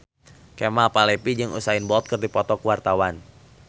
Kemal Palevi jeung Usain Bolt keur dipoto ku wartawan